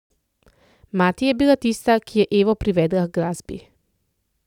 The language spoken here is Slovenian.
Mati je bila tista, ki je Evo privedla h glasbi.